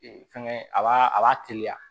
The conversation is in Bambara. Ee fɛnkɛ a b'a a b'a teliya